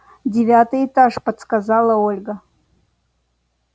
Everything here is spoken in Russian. девятый этаж подсказала ольга